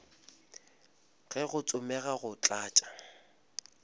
ge go tsomega go tlatša